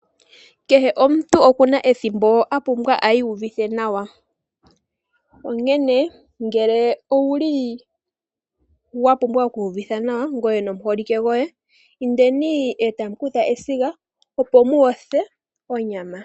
Kehe omuntu okuna ethimbo a pumbwa a iuvithe nawa, onkene ngele owuli wa pumbwa okwi yuvitha nawa ngoye nomuholike goye indeni e tamu kutha esiga opo mu yotha onyama.